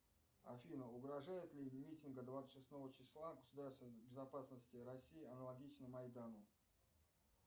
афина угрожает ли митинг от двадцать шестого числа государственной безопасности россии аналогично майдану